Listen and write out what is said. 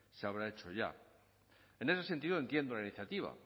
se habrá hecho ya en ese sentido entiendo la iniciativa